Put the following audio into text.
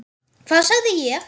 Hvað sagði ég??